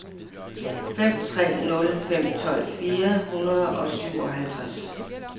fem tre nul fem tolv fire hundrede og syvoghalvtreds